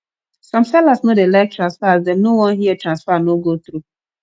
some sellers no dey like transfer as dem no wan hear transfer no go thru